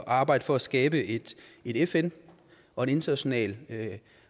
arbejde for at skabe et fn og en international